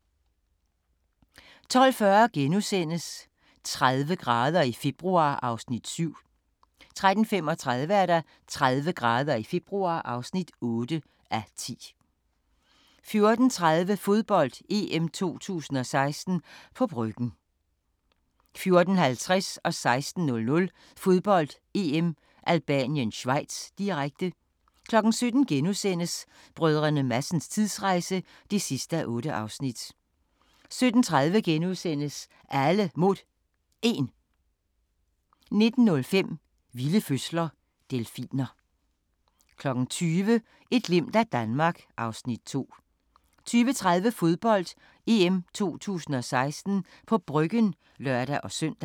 12:40: 30 grader i februar (7:10)* 13:35: 30 grader i februar (8:10) 14:30: Fodbold: EM 2016 – på Bryggen 14:50: Fodbold: EM - Albanien-Schweiz, direkte 16:00: Fodbold: EM - Albanien-Schweiz, direkte 17:00: Brdr. Madsens tidsrejse (8:8)* 17:30: Alle Mod 1 * 19:05: Vilde fødsler – Delfiner 20:00: Et glimt af Danmark (Afs. 2) 20:30: Fodbold: EM 2016 – på Bryggen (lør-søn)